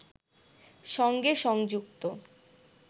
সঙ্গে সংযুক্ত